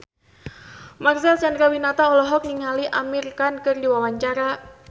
Marcel Chandrawinata olohok ningali Amir Khan keur diwawancara